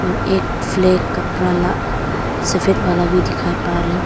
और एक फ्लैग कपड़ा ला सफेद वाला भी दिखाई पा रहे।